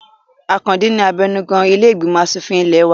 Àkàndé ni abẹnugan ilé ìgbìmọ̀ asòfin ilẹ̀ ẹ wa